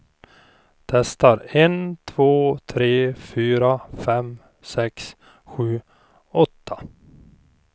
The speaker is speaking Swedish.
Testar en två tre fyra fem sex sju åtta.